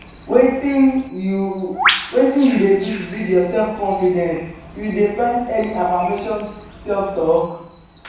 wetin you wetin you dey do to build your self-confidence you dey practice any affirmation self-talk?